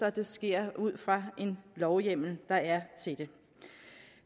at det så sker ud fra den lovhjemmel der er til det